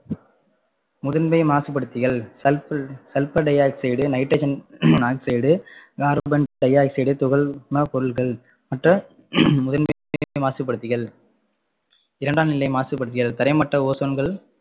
முதன்மை மாசுபடுத்திகள் sulp~sulphur di-oxide, nitrogen monoxide, carbon di-oxide துகள்ம பொருள்கள் மற்ற முதன்மை மாசுபடுத்திகள் இரண்டாம் நிலை மாசுபடுத்திகள் தரைமட்ட ozone கள்